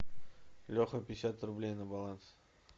леха пятьдесят рублей на баланс